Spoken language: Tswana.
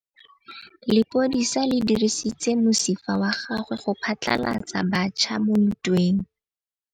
Lepodisa le dirisitse mosifa wa gagwe go phatlalatsa batšha mo ntweng.